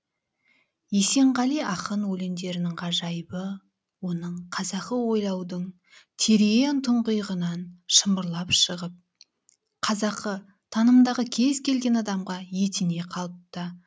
есенғали ақын өлеңдерінің ғажайыбы оның қазақы ойлаудың терең тұңғиығынан шымырлап шығып қазақы танымдағы кез келген адамға етене қалыпта